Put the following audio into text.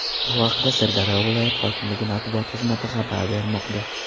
Bu haqda Sirdaryo viloyat hokimligi matbuot xizmati xabar bermoqda.